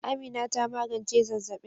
Amina ta magance zazzabin